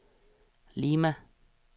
Lima